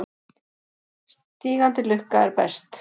Sígandi lukka er best.